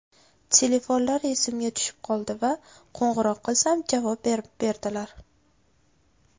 Telefonlari esimga tushib qoldi va qo‘ng‘iroq qilsam, javob berdilar.